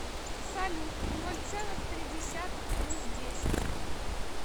салют ноль целых три десятых плюс десять